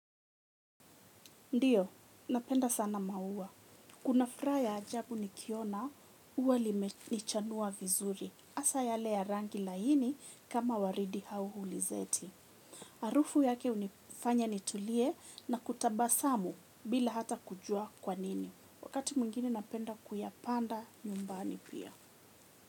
Ndiyo, napenda sana maua. Kuna furaha ya ajabu nikiona, ua limechanua vizuri. Hasa yale ya rangi laini kama waridi au hulizeti. Harufu yake hunifanya nitulie na kutabasamu bila hata kujua kwa nini. Wakati mwingine napenda kuyapanda nyumbani pia.